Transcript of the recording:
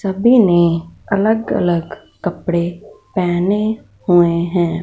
सभी ने अलग अलग कपड़े पहने हुए हैं।